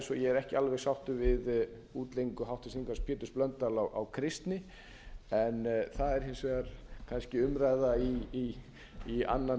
ég er ekki alveg sáttur við útleggingu háttvirtur þingmaður péturs blöndals á kristni en það er hins vegar kannski umræða í annan